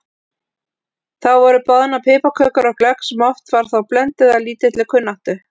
Þá voru boðnar piparkökur og glögg sem oft var þó blönduð af lítilli kunnáttu.